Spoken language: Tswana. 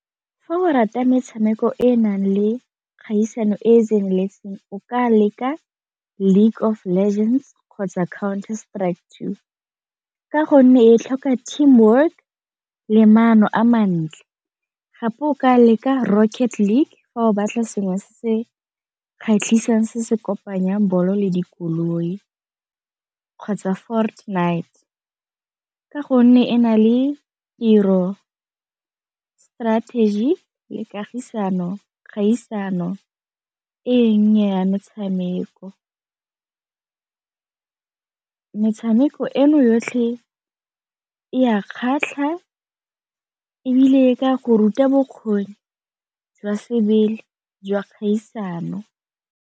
Fa o rata metshameko e e nang le kgaisano e e tseneletseng o ka leka League of Legends kgotsa ka gonne e tlhoka team work le maano a mantle, gape o ka leka Rocket League fa o batla sengwe se se kgatlhisang se se kopanya ball le dikoloi, kgotsa night ka gonne e na le tiro, strategy le kagisano, kgaisano e nnyane ya metshameko. Metshameko eno yotlhe e a kgatlha ebile ka go ruta bokgoni jwa sebele jwa kgaisano.